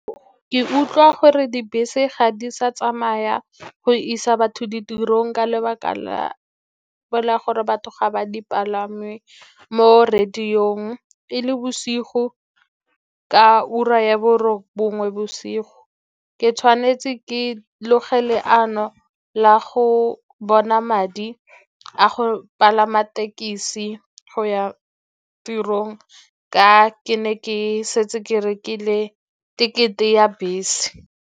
Ke utlwa gore dibese ga di sa tsamaya go isa batho ditirong ka lebaka la gore batho ga ba di palame mo radio-ng e le bosigo ka ura ya borobongwe bosigo, ke tshwanetse ke loge leano la go bona madi a go palama thekesi go ya tirong, ka ke ne ke setse ke rekile tekete ya bese.